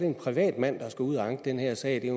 en privatmand der skal ud at anke den her sag det er